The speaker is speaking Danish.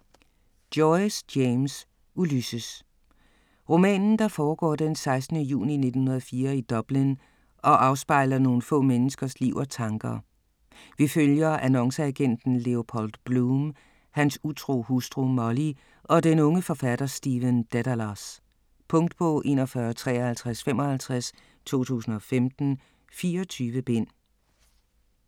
Joyce, James: Ulysses Roman der foregår den 16. juni 1904 i Dublin og afspejler nogle få menneskers liv og tanker. Vi følger annonceagenten Leopold Bloom, hans utro hustru Molly og den unge forfatter Stephen Dedalus. Punktbog 415355 2015. 24 bind.